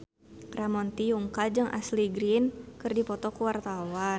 Ramon T. Yungka jeung Ashley Greene keur dipoto ku wartawan